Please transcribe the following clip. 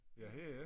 Ja her i